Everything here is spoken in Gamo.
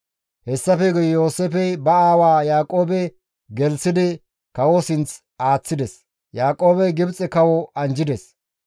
Hessafe guye Yooseefey ba aawaa Yaaqoobe gelththidi kawo sinth aaththides. Yaaqoobey Gibxe kawo anjjides.